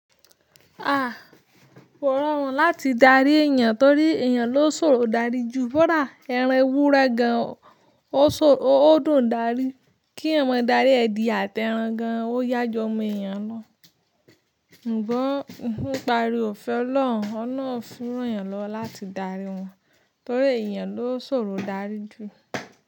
À, kò rọrùn láti darí èèyàn torí èèyàn ló ṣòro darí ju, kọ̀dà, ẹran ewure gan ò dùn darí. Kí eyan ma darí ẹ̀dìye àti ẹran gan, ó yá ju omọ eniyàn lọ. Ǹ bọ́n, nipa òri ofẹ́ olorun, olorun fún eyàn lọ láti darí wọn torí èyàn ló ṣòro darí jù.